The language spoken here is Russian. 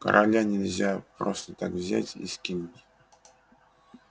короля нельзя просто так взять и скинуть